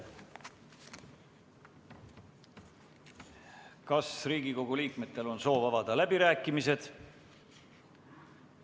Kas Riigikogu liikmetel on soovi avada läbirääkimised?